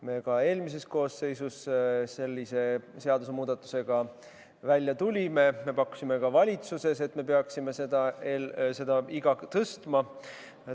Kui me eelmises koosseisus sellise seadusemuudatusega välja tulime, siis me pakkusime ka valitsuses, et me peaksime seda iga tõstma.